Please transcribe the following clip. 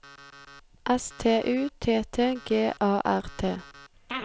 S T U T T G A R T